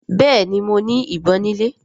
Béèni mọ ní ìbọn ni ilè.